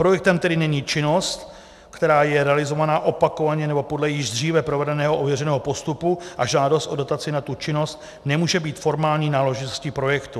Projektem, který není činnost, která je realizována opakovaně nebo podle již dříve provedeného ověřeného postupu, a žádost o dotaci na tu činnost nemůže mít formální náležitostí projektu.